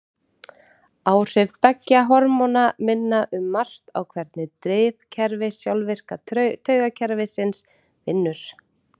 Áhrif beggja hormóna minna um margt á hvernig drifkerfi sjálfvirka taugakerfisins vinnur.